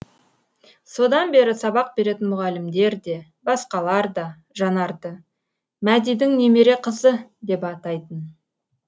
содан бері сабақ беретін мұғалімдер де басқалар да жанарды мәдидің немере қызы деп атайтын